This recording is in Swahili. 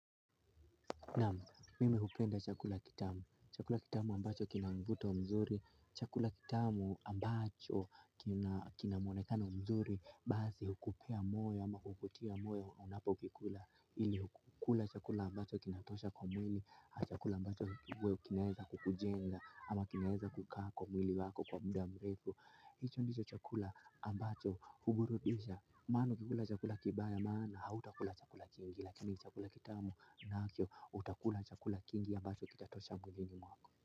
Naam mimi hupenda chakula kitamu. Chakula kitamu ambacho kina mvuto mzuri. Chakula kitamu ambacho kinamvuto mzuri. Chakula kitamu ambacho kinamvuto mzuri. Baadhi hukupea moyo ama hukutia moyo unapokikula. Ili ukule chakula ambacho kinatosha kwa mwili chakula ambacho kiwe kinaweza kukujenga ama kinaweza kukaa kwa mwili wako kwa muda mrefu hicho ndiyo chakula ambacho huburudisha maana kukula chakula kibaya maana hautakula chakula kingi lakini chakula kitamu nacho utakula chakula kingi ambacho kitatosha mwili wako.